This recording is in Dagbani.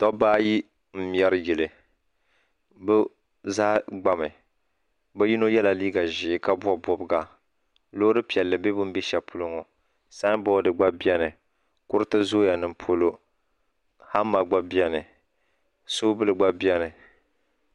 Dabba ayi n mŋɛri yili bi zaa gba mi bi yino ye la liiga zɛɛ ka bɔbi bɔbiga loori piɛlli bɛ bini bɛ shɛli polo ŋɔ sanbɔdi gba bɛni kuriti zooya ni polo hama gba bɛni sobuli gba bɛni.